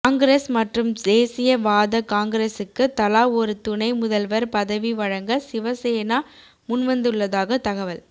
காங்கிரஸ் மற்றும் தேசிய வாத காங்கிரசுக்கு தலா ஒரு துணை முதல்வர் பதவி வழங்க சிவ சேனா முன்வந்துள்ளதாக தகவல்